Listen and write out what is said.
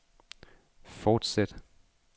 fortsæt